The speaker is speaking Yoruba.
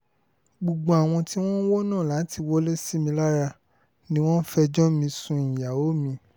gbogbo àwọn tí wọ́n ń wọ́nà láti wọlé sí mi lára ni wọ́n ń fẹjọ́ mi sún ìyàwó mi